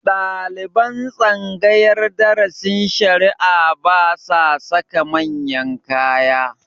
Ɗaliban tsangayar darasin shari'a ba sa saka manyan kaya